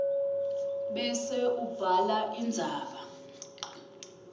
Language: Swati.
bese ubhala indzaba